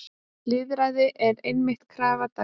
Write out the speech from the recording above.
Lýðræði er einmitt krafa dagsins.